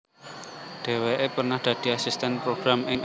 Dhéwéké pernah dadi asistèn program ing